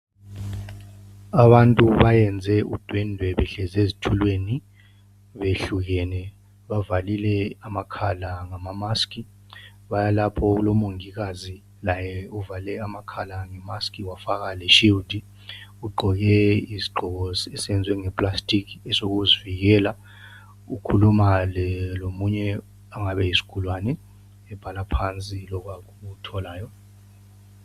Abantu bayenze udwendwe behlezi ezitulweni beyehlukene bavalile amakhala ngamamask bayalapho okulomongikazi laye uvale amakhala ngemask wafaka leshield ugqoke isigqoko esenziwe ngeplastic esokuzivikela ukhuluma lomunye ongabe eyisigulane ebhala phansi lokhu akutholayo.